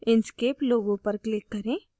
inkscape logo पर click करें